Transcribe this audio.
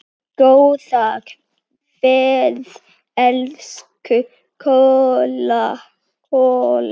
Góða ferð, elsku Kolla.